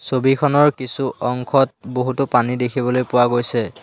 ছবিখনৰ কিছু অংশত বহুতো পানী দেখিবলৈ পোৱা গৈছে।